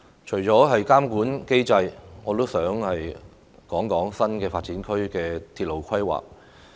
除了監管機制，我也想談談新發展區的鐵路規劃。